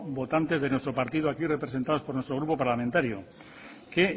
votantes de nuestro partido aquí representados por nuestro grupo parlamentario que